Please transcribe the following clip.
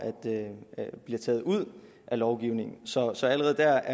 bliver taget ud af lovgivningen så så allerede der